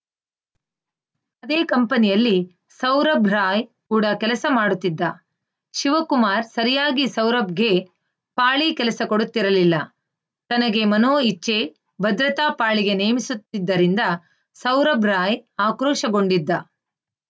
ಅದೇ ಕಂಪನಿಯಲ್ಲಿ ಸೌರಬ್‌ ರಾಯ್‌ ಕೂಡ ಕೆಲಸ ಮಾಡುತ್ತಿದ್ದ ಶಿವಕುಮಾರ್‌ ಸರಿಯಾಗಿ ಸೌರಬ್‌ಗೆ ಪಾಳಿ ಕೆಲಸ ಕೊಡುತ್ತಿರಲಿಲ್ಲ ತನಗೆ ಮನೋ ಇಚ್ಛೆ ಭದ್ರತಾ ಪಾಳಿಗೆ ನೇಮಿಸುತ್ತಿದ್ದರಿಂದ ಸೌರಬ್‌ರಾಯ್‌ ಆಕ್ರೋಶಗೊಂಡಿದ್ದ